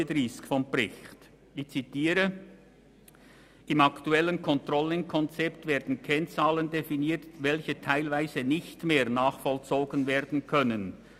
«Im aktuellen Controlling-Konzept werden Kennzahlen definiert, welche teilweise nicht mehr nachvollzogen werden können.